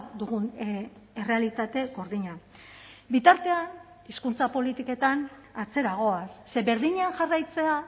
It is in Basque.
dugun errealitate gordina bitartean hizkuntza politiketan atzera goaz ze berdinean jarraitzea